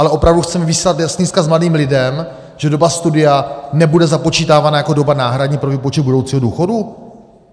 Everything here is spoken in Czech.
Ale opravdu chceme vyslat jasný vzkaz mladým lidem, že doba studia nebude započítávána jako doba náhradní pro výpočet budoucího důchodu?